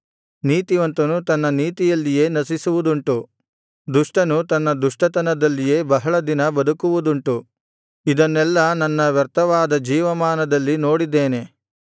ನೀತಿವಂತನು ತನ್ನ ನೀತಿಯಲ್ಲಿಯೇ ನಶಿಸುವುದುಂಟು ದುಷ್ಟನು ತನ್ನ ದುಷ್ಟತನದಲ್ಲಿಯೇ ಬಹಳ ದಿನ ಬದುಕುವುದುಂಟು ಇದನ್ನೆಲ್ಲಾ ನನ್ನ ವ್ಯರ್ಥವಾದ ಜೀವಮಾನದಲ್ಲಿ ನೋಡಿದ್ದೇನೆ